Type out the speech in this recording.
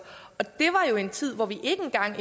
og det var jo i en tid hvor vi ikke engang